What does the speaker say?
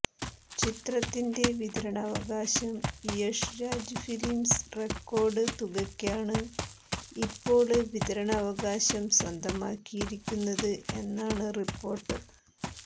ചിത്രത്തിന്റെ വിതരാണാവകാശം Yash Raj films record തുകയ്ക്കാണ് ഇപ്പോള് വിതരണാവകാശം സ്വന്തമാക്കിയിരിക്കുന്നത് എന്നാണ് റിപ്പോര്ട്ട്